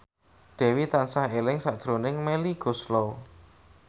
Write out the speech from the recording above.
Dewi tansah eling sakjroning Melly Goeslaw